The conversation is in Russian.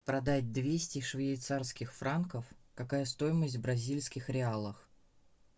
продать двести швейцарских франков какая стоимость в бразильских реалах